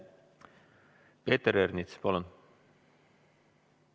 Peeter Ernits, palun!